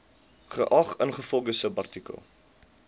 geag ingevolge subartikel